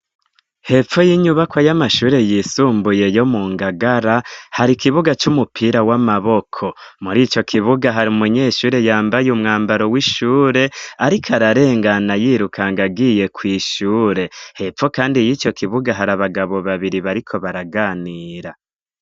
Hepfo y'inyubako y'amashure yisumbuye yo mu Ngagara hari ikibuga c'umupira w'amaboko, muri ico kibuga hari umunyeshure yambaye umwambaro w'ishure ariko ararengana yirukanga agiye kw'ishure, hepfo kandi y' ico kibuga hari abagabo babiri bariko baraganira.